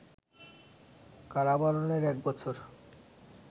কারাবরণের এক বছর